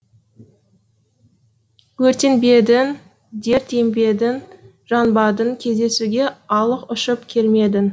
өртенбедің дерт ембедің жанбадың кездесуге алып ұшып келмедің